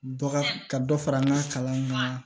Dɔ ka dɔ fara an ka kalanw kan